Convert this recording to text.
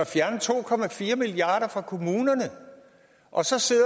fjerner to milliard kroner fra kommunerne og så sidder